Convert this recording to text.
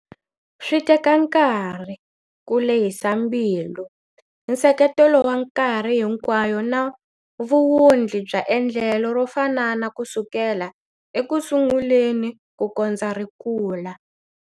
Swi teka nkarhi, ku lehisa mbilu, nseketelo wa nkarhi hinkwayo na vuwundli bya endlelo ro fanana kusukela ekusunguleni kukondza ri kula.